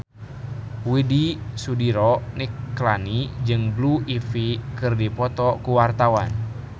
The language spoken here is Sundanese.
Widy Soediro Nichlany jeung Blue Ivy keur dipoto ku wartawan